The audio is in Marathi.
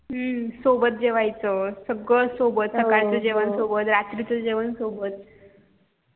हम्म सोबत जेवायचं सगळं सोबत सकाळ च जेवण सोबत रात्री च जेवण सोबत